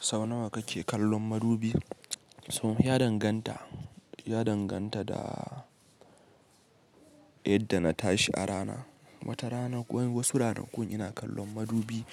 Sau nawa kake kallon madubi? So ya danganta, ya danganta da yadda na tashi a rana. Wata rana wasu rana kun yana kallon madubi